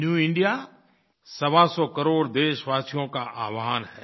new India सवासौ करोड़ देशवासियों का आह्वान है